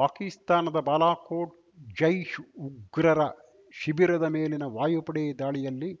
ಪಾಕಿಸ್ತಾನದ ಬಾಲಾಕೋಟ್‌ ಜೈಷ್‌ ಉಗ್ರರ ಶಿಬಿರದ ಮೇಲಿನ ವಾಯುಪಡೆ ದಾಳಿಯಲ್ಲಿ